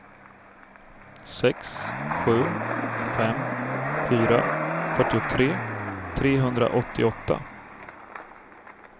sex sju fem fyra fyrtiotre trehundraåttioåtta